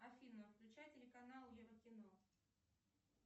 афина включай телеканал еврокино